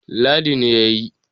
Ladi ne ya yi